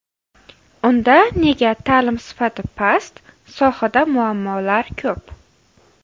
Unda nega ta’lim sifati past, sohada muammolar ko‘p?.